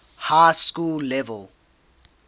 high school level